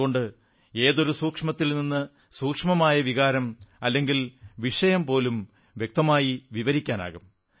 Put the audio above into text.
അതുകൊണ്ട് ഏതൊരു സൂക്ഷ്മത്തിൽ സൂക്ഷ്മമായ വികാരം അല്ലെങ്കിൽ വിഷയം പോലും കൃത്യമായി വിവരിക്കാനാകും